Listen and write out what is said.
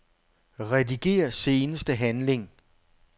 Rediger seneste handling.